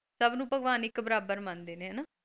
ਸੱਭ ਨੂੰ ਭਗਵਾਨ ਇੱਕ ਬਰਾਬਰ ਮੰਨਦੇ ਨੇ ਹੈਨਾ।